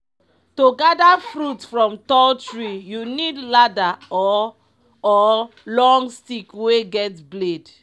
to gather fruit from tall tree you need ladder or or long stick wey get blade.